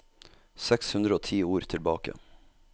Seks hundre og ti ord tilbake